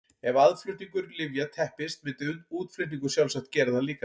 Ef aðflutningur lyfja teppist myndi útflutningur sjálfsagt gera það líka.